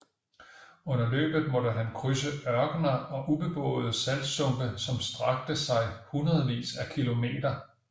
Under løbet måtte han krydse ørkener og ubeboede saltsumpe som strakte sig hundredvis af km